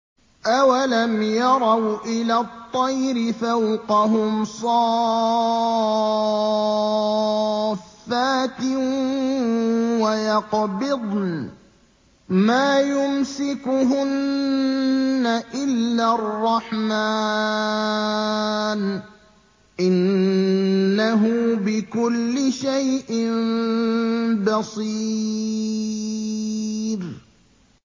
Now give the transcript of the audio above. أَوَلَمْ يَرَوْا إِلَى الطَّيْرِ فَوْقَهُمْ صَافَّاتٍ وَيَقْبِضْنَ ۚ مَا يُمْسِكُهُنَّ إِلَّا الرَّحْمَٰنُ ۚ إِنَّهُ بِكُلِّ شَيْءٍ بَصِيرٌ